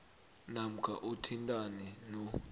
namkha uthintane no